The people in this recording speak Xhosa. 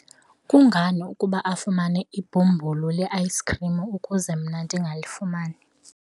kungani ukuba afumane ibhumbulu le-ayisikhrim ukuze mna ndingalifumani?